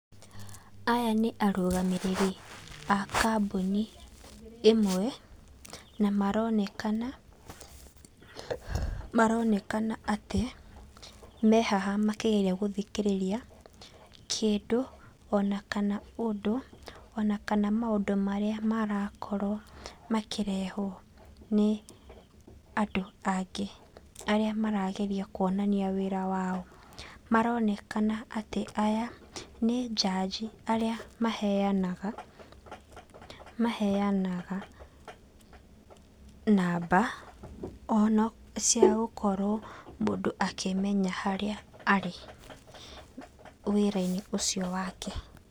Aya nĩ arũgamĩrĩri a kambũni ĩmwe, na maronekana [pasue] maronekana atĩ, mehaha makĩgeria gũthikĩrĩria, kĩndũ, onakana ũndũ, onakana maũndũ marĩa marakorwo, makĩrehwo, nĩ andũ angĩ, arĩa marageria kuonania wĩra wao, maronekana atĩ aya, nĩ njanji arĩa maheanaga, maheanaga namba, ono, ciagũkorwo mũndũ akĩmenya harĩa arĩ, wĩra-inĩ ũcio wake.